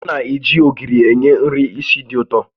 A na-eji ogiri enye nri ísì dị ụtọ